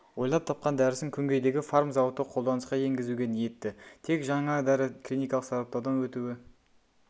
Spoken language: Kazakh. ойлап тапқан дәрісін күнгейдегі фарм зауыты қолданысқа енгізуге ниетті тек жаңа дәрі клиникалық сараптаудан өтуі